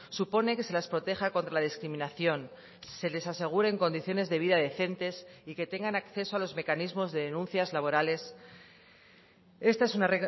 supone que se las proteja contra la discriminación se les aseguren condiciones de vida decentes y que tengan acceso a los mecanismos de denuncias laborales esta es una